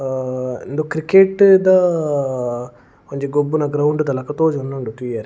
ಅಹ್ ಉಂದು ಕ್ರಿಕೆಟ್ ದ ಅಹ್ ಒಂಜಿ ಗೊಬ್ಬುನ ಗ್ರೌಂಡ್ ದ ಲಕ್ಕ ತೋಜೊಂದುಂಡು ತೂವರೆ.